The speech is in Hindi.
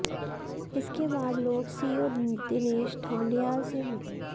इसके बाद लोग सीओ दिनेश ढौंडियाल से मिले